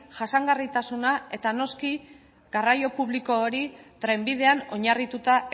jasangarritasuna eta noski garraio publiko hori trenbidean oinarrituta